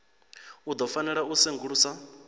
u ḓo fanela u sengulusa